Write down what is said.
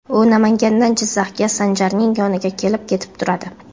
U Namangandan Jizzaxga Sanjarning yoniga kelib-ketib turadi.